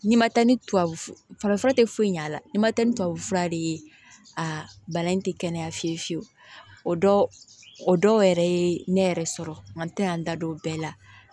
N'i ma taa ni tubabu farafura tɛ foyi ɲ'a la n'i ma taa ni tubabufura de ye a bana in ti kɛnɛya fiyewu fiyewu o dɔw yɛrɛ ye ne yɛrɛ sɔrɔ nka an tɛ yan n da don bɛɛ la